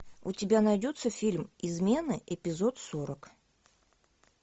у тебя найдется фильм измены эпизод сорок